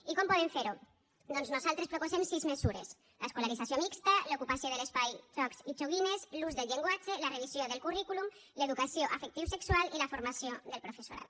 i com podem fer ho doncs nosaltres proposem sis mesures l’escolarització mixta l’ocupació de l’espai jocs i joguines l’ús del llenguatge la revisió del currículum l’educació afectivosexual i la formació del professorat